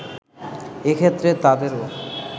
এক্ষেত্রে তাদেরও